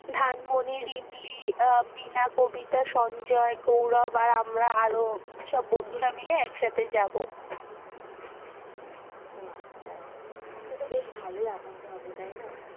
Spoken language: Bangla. ধানমনি, রিমলি, আহ মিনা, কবিতা, সঞ্জয় গৌরব আর আমরা আরও সব বন্ধুরা মিলে একসাথে যাবো, ও আচ্ছা তো বেশ ভালোই আনন্দ হবে তাই না,